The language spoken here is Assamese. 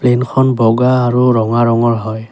প্লেন খন বগা আৰু ৰঙা ৰঙৰ হয়।